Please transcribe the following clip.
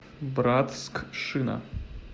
братскшина